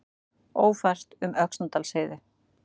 Ófært um Öxnadalsheiði